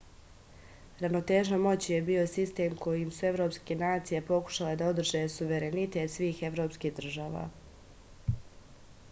ravnoteža moći je bio sistem kojim su evropske nacije pokušale da održe suverenitet svih evropskih država